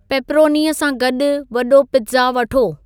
पेपरोनीअ सां गॾु वॾो पिज़्ज़ा वठो